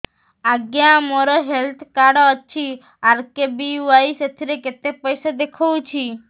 ଆଜ୍ଞା ମୋର health card ଅଛି ଆର୍.କେ.ବି.ୱାଇ ସେଥିରେ କେତେ ପଇସା ଦେଖଉଛି